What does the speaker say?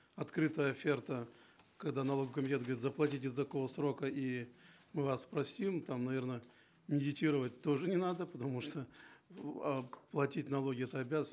открытая оферта когда налоговый комитет говорит заплатите до такого то срока и мы вас простим там наверно медитировать тоже не надо потому что ну э платить налоги это обязанность